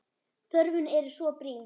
Þörfin er svo brýn.